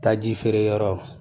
Taji feere yɔrɔ